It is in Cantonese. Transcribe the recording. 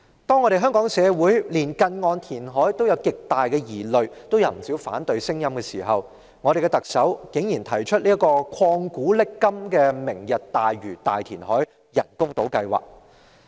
當香港社會對近岸填海也有極大疑慮，也有不少反對聲音時，特首竟然提出這個曠古爍今的"明日大嶼"大填海人工島計劃。